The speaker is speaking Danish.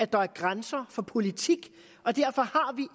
der er grænser for politik og derfor har vi